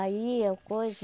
Aí é o coiso.